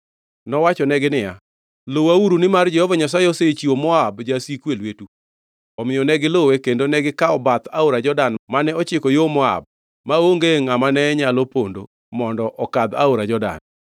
Nowachonegi niya, “Luwauru, nimar Jehova Nyasaye osechiwo Moab, jasiku, e lwetu.” Omiyo ne giluwe kendo negikawo bath aora Jordan mane ochiko yo Moab, maonge ngʼama ne nyalo pondo mondo okadh aora Jordan.